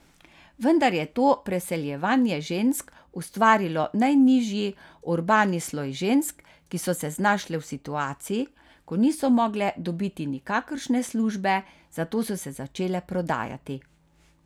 Vendar je to preseljevanje žensk ustvarilo najnižji urbani sloj žensk, ki so se znašle v situaciji, ko niso mogle dobiti nikakršne službe, zato so se začele prodajati.